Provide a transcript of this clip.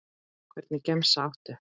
Hvernig gemsa áttu?